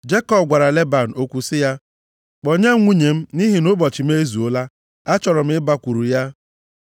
Jekọb gwara Leban, okwu sị ya, “Kpọnye m nwunye m nʼihi nʼụbọchị m ezuola. Achọrọ m ịbakwuru ya.”